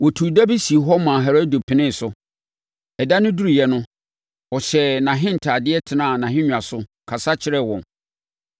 Wɔtuu da bi sii hɔ maa Herode penee so. Ɛda no duruiɛ no, ɔhyɛɛ nʼahentadeɛ tenaa nʼahennwa so, kasa kyerɛɛ wɔn.